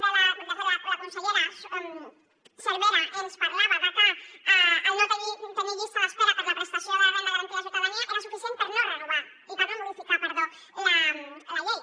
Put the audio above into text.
de fet la consellera cervera ens parlava de que el no tenir llista d’espera per a la prestació de la renda garantida de ciutadania era suficient per no modificar la llei